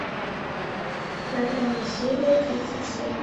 на грани серия тридцать семь